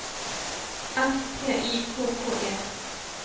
S T I K K E